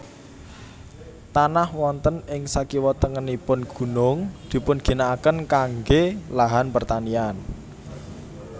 Tanah wonten ing sakiwa tengenipun gunung dipun ginakaken kangge lahan pertanian